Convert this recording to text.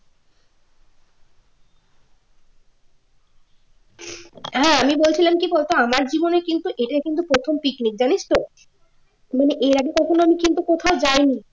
হ্যাঁ আমি বলছিলাম কি বলতো আমার জীবনে কিন্তু এটাই কিন্তু প্রথম picnic জানিস তো মানে এর আগে কখনও আমি কিন্তু কোথাও যাইনি